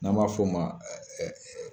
N'an b'a f'o ma